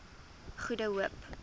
goede hoop